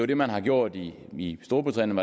det man har gjort i i storbritannien